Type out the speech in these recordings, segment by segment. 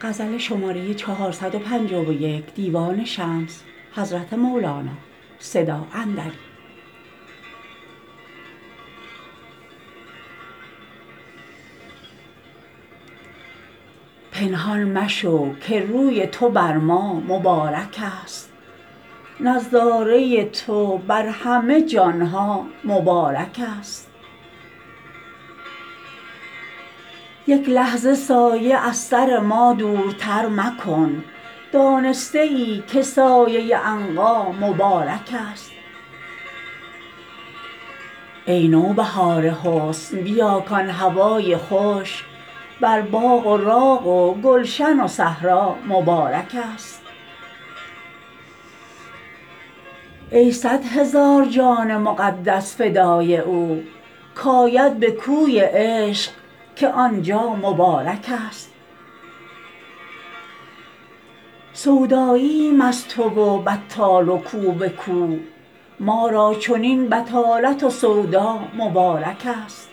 پنهان مشو که روی تو بر ما مبارکست نظاره تو بر همه جان ها مبارکست یک لحظه سایه از سر ما دورتر مکن دانسته ای که سایه عنقا مبارکست ای نوبهار حسن بیا کان هوای خوش بر باغ و راغ و گلشن و صحرا مبارکست ای صد هزار جان مقدس فدای او کآید به کوی عشق که آن جا مبارکست سودایییم از تو و بطال و کو به کو ما را چنین بطالت و سودا مبارکست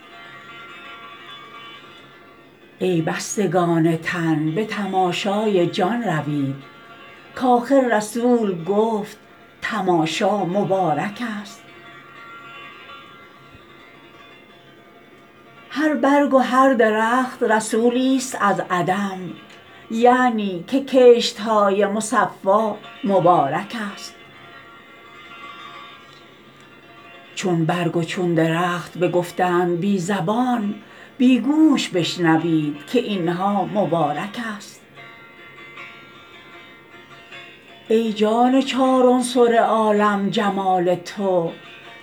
ای بستگان تن به تماشای جان روید کآخر رسول گفت تماشا مبارکست هر برگ و هر درخت رسولیست از عدم یعنی که کشت های مصفا مبارکست چون برگ و چون درخت بگفتند بی زبان بی گوش بشنوید که این ها مبارکست ای جان چار عنصر عالم جمال تو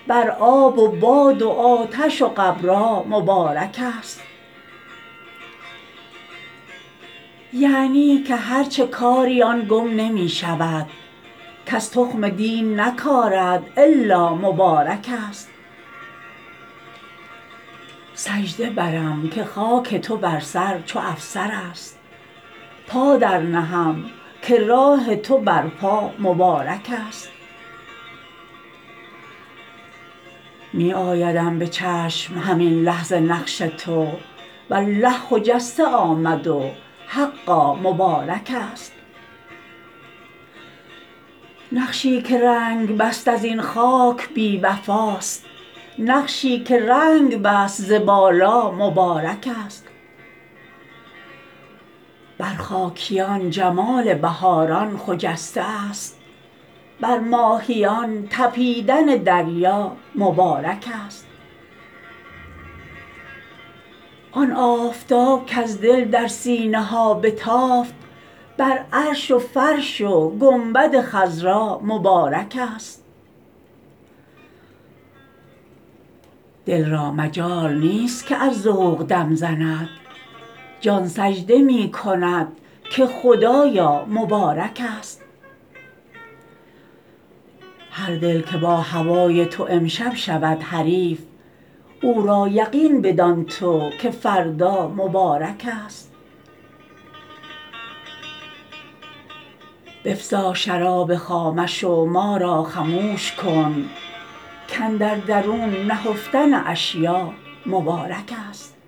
بر آب و باد و آتش و غبرا مبارکست یعنی که هر چه کاری آن گم نمی شود کس تخم دین نکارد الا مبارکست سجده برم که خاک تو بر سر چو افسرست پا درنهم که راه تو بر پا مبارکست می آیدم به چشم همین لحظه نقش تو والله خجسته آمد و حقا مبارکست نقشی که رنگ بست از این خاک بی وفاست نقشی که رنگ بست ز بالا مبارکست بر خاکیان جمال بهاران خجسته ست بر ماهیان طپیدن دریا مبارکست آن آفتاب کز دل در سینه ها بتافت بر عرش و فرش و گنبد خضرا مبارکست دل را مجال نیست که از ذوق دم زند جان سجده می کند که خدایا مبارکست هر دل که با هوای تو امشب شود حریف او را یقین بدان تو که فردا مبارکست بفزا شراب خامش و ما را خموش کن کاندر درون نهفتن اشیاء مبارکست